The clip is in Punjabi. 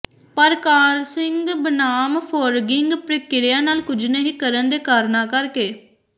ਪਰ ਕਾਰਸਿੰਗ ਬਨਾਮ ਫੋਰਗਿੰਗ ਪ੍ਰਕਿਰਿਆ ਨਾਲ ਕੁਝ ਨਹੀਂ ਕਰਨ ਦੇ ਕਾਰਨਾਂ ਕਰਕੇ